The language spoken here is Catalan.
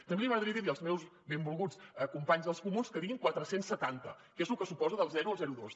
també m’agradaria dir als meus benvolguts companys dels comuns que diguin quatre cents i setanta que és el que suposa del zero al zero coma dos